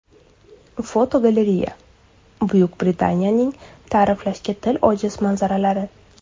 Fotogalereya: Buyuk Britaniyaning ta’riflashga til ojiz manzaralari.